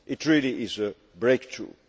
It really is a breakthrough